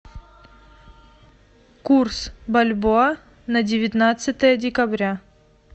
курс бальбоа на девятнадцатое декабря